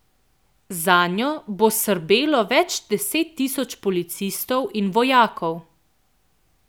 Zanjo bo srbelo več deset tisoč policistov in vojakov.